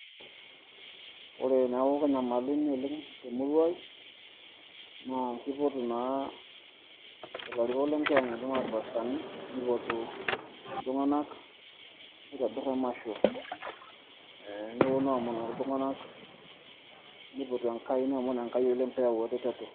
ore teneeku kenyamaluni oleng temurua ai naa kipotu naa ilarikok le nkiyang'et aa irpastani nipotu iltung'anak oitobirr emasho neponu aomonoki iltung'anak nipotu Enkai nemon Enkai oleng pee eyau eretoto.